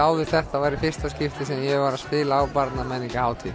áður þetta er í fyrsta skipti sem ég var að spila á